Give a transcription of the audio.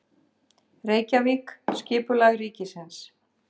Reykjavík: Skipulag ríkisins.